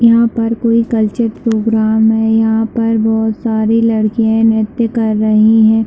यहाँ पर कोई कल्चर प्रोग्राम है यहाँ पर बहोत सारे लड़के नृत्य कर रहै है।